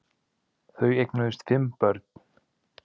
Þau eignuðust fimm börn